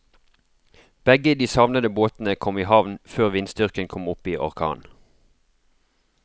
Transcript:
Begge de savnede båtene kom i havn før vindstyrken kom opp i orkan.